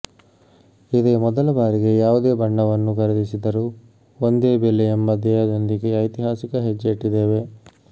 ಇದೇ ಮೊದಲ ಬಾರಿಗೆ ಯಾವುದೇ ಬಣ್ಣವನ್ನೂ ಖರೀದಿಸಿದರೂ ಒಂದೇ ಬೆಲೆ ಎಂಬ ಧ್ಯೇಯದೊಂದಿಗೆ ಐತಿಹಾಸಿಕ ಹೆಜ್ಜೆ ಇಟ್ಟಿದ್ದೇವೆ